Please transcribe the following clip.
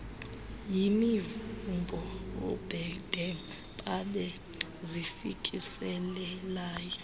yimivumbo oobhede babezifikisela